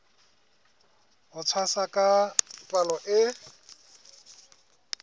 ho tshwasa ka palo e